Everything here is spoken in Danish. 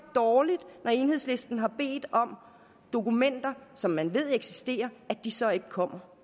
dårligt når enhedslisten har bedt om dokumenter som man ved eksisterer at de så ikke kommer